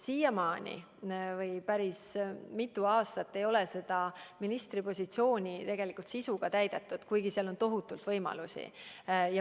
Siiamaani või päris mitu aastat ei ole seda ministri positsiooni tegelikult sisuga täidetud, kuigi seal on tohutult võimalusi.